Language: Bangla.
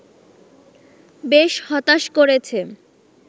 বেশ হতাশ করেছে